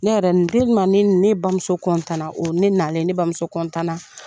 Ne yɛrɛ ne ne bamuso na o ne nalen ne bamuso na.